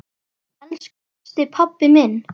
Elsku besti, pabbi minn.